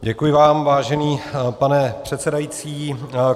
Děkuji vám, vážený pane předsedající.